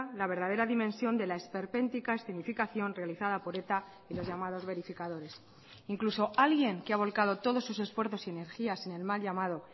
la verdadera dimensión de la esperpéntica escenificación realizada por eta y los llamados verificadores incluso alguien que ha volcado todos sus esfuerzos y energías en el mal llamado